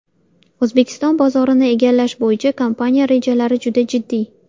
O‘zbekiston bozorini egallash bo‘yicha kompaniya rejalari juda jiddiy.